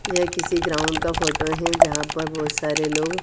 यह किसी ग्राउंड का फोटो है जहां पर बहोत सारे लोग--